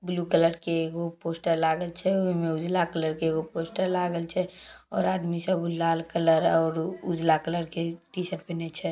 Blue colour के एगो poster लागल छै ओय में उजला कलर के एगो पोस्टर लागल छै और आदमी सब लाल कलर और उजला कलर के टीशर्ट पीनन्हे छै।